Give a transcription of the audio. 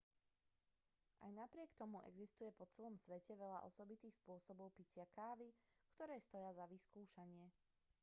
aj napriek tomu existuje po celom svete veľa osobitných spôsobov pitia kávy ktoré stoja za vyskúšanie